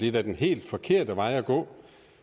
er da den helt forkerte vej at gå